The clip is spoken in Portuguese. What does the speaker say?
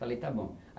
Falei, tá bom.